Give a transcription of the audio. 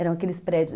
Eram aqueles prédios.